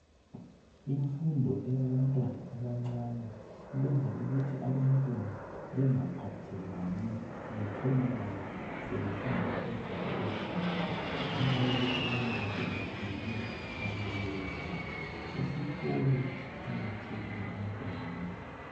Imfundo eyabantwana abancane iyenza ukuthi abantwana bengaphathelani betholakale sebesenza izinto ezimbi ngenxayokuthi bayabe sebeswele okokwenza. Isikolo siqakathekile ebantwaneni.